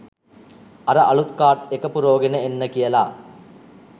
අර අළුත් කාඩ් එක පුරෝගෙන එන්න" කියලා